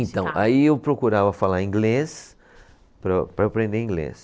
Então, aí eu procurava falar inglês para, para eu aprender inglês.